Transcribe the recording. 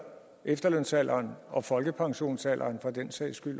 efterlønsalderen og også folkepensionsalderen for den sags skyld